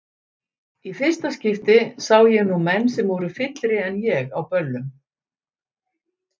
Í fyrsta skipti sá ég nú menn sem voru fyllri en ég á böllum.